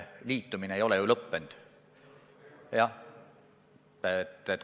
Liitumine ei ole ju sellisel juhul lõppenud.